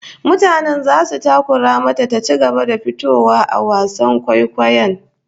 Mutane zasu takura mata ta ci gaba da fitowa a wasan kwaikwayon